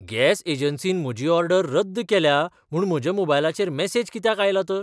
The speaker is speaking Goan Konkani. गॅस एजन्सीन म्हजी ऑर्डर रद्द केल्या म्हूण म्हज्या मोबायलचेर मॅसेज कित्याक आयला तर?